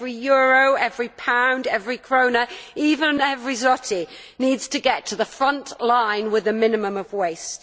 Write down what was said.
Every euro, every pound, every krone, even every zloty needs to get to the front line with a minimum of waste.